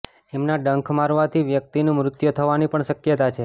એમના ડંખ મરવાથી વ્યક્તિનું મૃત્યુ થવાની પણ શક્યતા છે